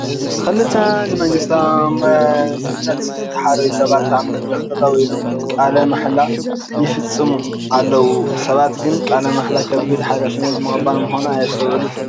ክልተ ንመንግስታዊ መዝነት ዝተሓረዩ ሰባት ኣብ መድረኽ ጠጠው ኢሎም ቃለ ማሕላ ይፍፅሙ ኣለዉ፡፡ ሰባት ግን ቃለ ማሕላ ከቢድ ሓላፍነት ምቕባል ምዃኑ ኣየስተውዕሉን፡፡